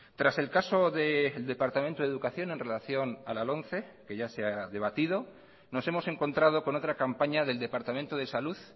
tras el caso del departamento de educación en relación a la lomce que ya se ha debatido nos hemos encontrado con otra campaña del departamento de salud